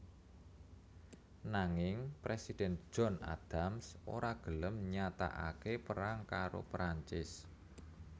Nanging Presiden John Adams ora gelem nyatakake perang karo Perancis